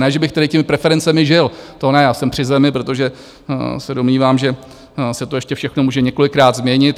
Ne že bych tedy těmi preferencemi žil, to ne, já jsem při zemi, protože se domnívám, že se to ještě všechno může několikrát změnit.